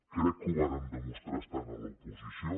crec que ho vàrem demostrar estant a l’oposició